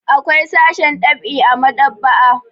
Akwai sashen ɗab'i a maɗ'aba'a.